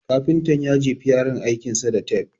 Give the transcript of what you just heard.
Kafintan ya jefi yaron aikin sa da tafe